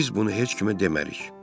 Biz bunu heç kimə demərik.